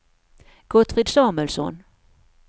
Gottfrid Samuelsson